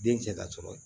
Den cɛ ka sɔrɔ ye